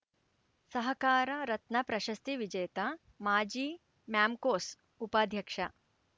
ಸಹಕಾರ ರತ್ನ ಪ್ರಶಸ್ತಿ ವಿಜೇತ ಮಾಜಿ ಮ್ಯಾಮ್ಕೋಸ್‌ ಉಪಾಧ್ಯಕ್ಷ